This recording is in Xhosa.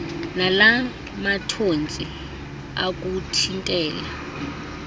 nala mathontsi okuthintela